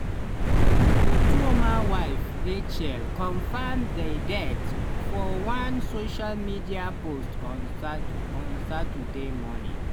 otuoma wife racheal confam di death for one social media post on sat on saturday morning.